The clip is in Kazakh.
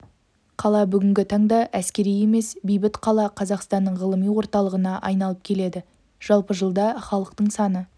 қала бүгінгі таңда әскери емес бейбіт қала қазақстанның ғылыми орталығына айналып келеді жалпы жылда халықтың саны